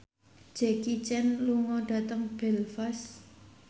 Jackie Chan lunga dhateng Belfast